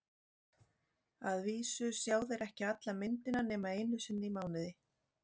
Að vísu sjá þeir ekki alla myndina nema einu sinni í mánuði.